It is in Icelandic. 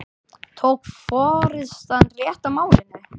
Tók forystan rétt á málinu?